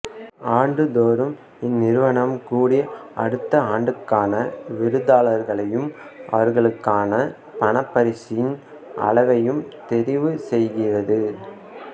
ஆண்டு தோறும் இந்நிறுவனம் கூடி அடுத்த ஆண்டுக்கான விருதாளர்களையும் அவர்களுக்கான பணப்பரிசின் அளவையும் தெரிவு செய்கிறது